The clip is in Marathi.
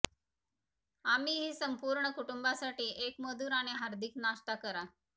आम्ही ही संपूर्ण कुटुंबासाठी एक मधुर आणि हार्दिक नाश्ता करा